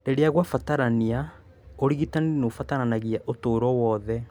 Rĩrĩa kwabatarania, ũrigitani nĩ ũbataranagia ũtũũro wothe.